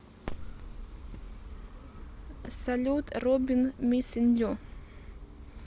салют робин миссин ю